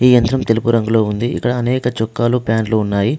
ఈ యంత్రం తెలుపు రంగులో ఉంది. ఇక్కడ అనేక చొక్కాలు ప్యాంట్లు ఉన్నాయి.